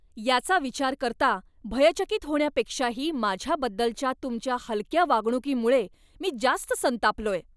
याचा विचार करता, भयचकित होण्यापेक्षाही माझ्याबद्दलच्या तुमच्या हलक्या वागणुकीमुळे मी जास्त संतापलोय.